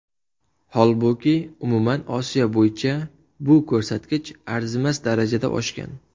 Holbuki, umuman Osiyo bo‘yicha bu ko‘rsatkich arzimas darajada oshgan.